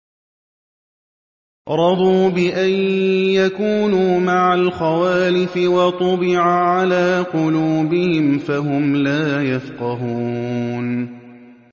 رَضُوا بِأَن يَكُونُوا مَعَ الْخَوَالِفِ وَطُبِعَ عَلَىٰ قُلُوبِهِمْ فَهُمْ لَا يَفْقَهُونَ